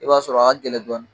I b'a sɔrɔ a ka gɛlɛn dɔɔnin.